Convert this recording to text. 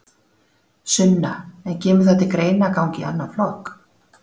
Sunna: En kemur það til greina að ganga í annan flokk?